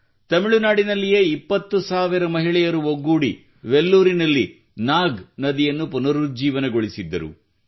ತಮಿಳುನಾಡಿನಲ್ಲಿಯೇ 20 ಸಾವಿರ ಮಹಿಳೆಯರು ಒಗ್ಗೂಡಿ ವೆಲ್ಲೂರಿನಲ್ಲಿ ನಾಗ್ ನದಿಯನ್ನು ಪುನರುಜ್ಜೀವನಗೊಳಿಸಿದ್ದರು